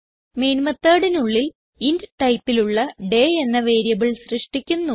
main methodനുള്ളിൽ int ടൈപ്പിലുള്ള day എന്ന വേരിയബിൾ സൃഷ്ടിക്കുന്നു